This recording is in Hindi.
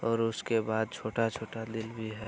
और उसके बाद छोटा-छोटा दिल भी है।